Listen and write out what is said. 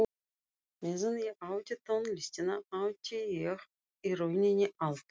Meðan ég átti tónlistina átti ég í rauninni allt.